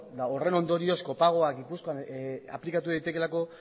eta horren ondorioz kopagoa gipuzkoan aplikatu daitekeelako